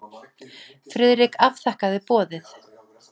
Friðrik afþakkaði boðið.